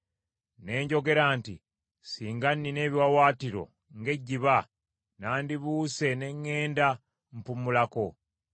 Ne njogera nti, Singa nnina ebiwaawaatiro ng’ejjiba, nandibuuse ne ŋŋenda mpummulako.